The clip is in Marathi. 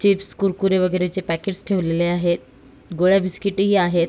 चिप्स कुरकुरे वगैरेचे पॅकेट्स ठेवलेले आहेत गोळ्या बिस्किट्स ही आहेत.